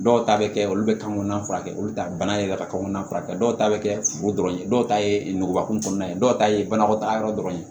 Dɔw ta bɛ kɛ olu bɛ kan kɔnɔna furakɛ olu bɛ taa bana yɛrɛ ka kan kɔnɔna furakɛ dɔw ta bɛ kɛ furu dɔrɔn ye dɔw ta ye nugubakun kɔnɔna ye dɔw ta ye banakɔta yɔrɔ dɔrɔn ye